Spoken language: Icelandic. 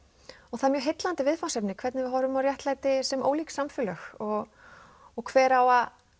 það er mjög heillandi viðfangsefni hvernig við horfum á réttlæti sem ólík samfélög og og hver á að